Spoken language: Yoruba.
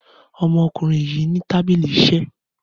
Ọmọkùnrin yìí ní tábìlì iṣẹ́.